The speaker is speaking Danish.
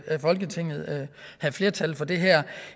at folketinget havde flertal for det her